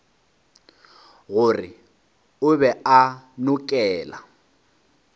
gore o be a nokela